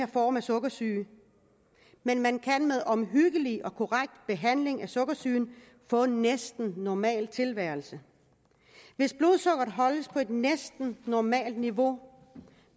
for sukkersyge men man kan med omhyggelig og korrekt behandling af sukkersygen få en næsten normal tilværelse hvis blodsukkeret holdes på et næsten normalt niveau